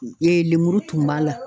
Ee lemuru tun b'a la